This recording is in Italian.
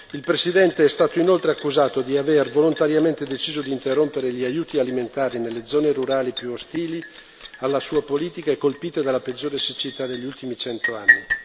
Il presidente è stato inoltre accusato di aver volontariamente deciso di interrompere gli aiuti alimentari nelle zone rurali più ostili alla sua politica e colpite dalla peggiore siccità degli ultimi cento anni.